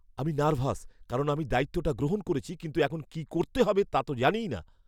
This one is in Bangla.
আমি নার্ভাস কারণ আমি দায়িত্বটা গ্রহণ করেছি কিন্তু এখন কী করতে হবে তা তো জানিই না।